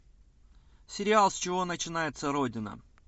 сериал с чего начинается родина